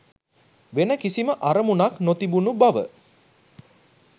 වෙන කිසිම අරමුණක් නොතිබුන බව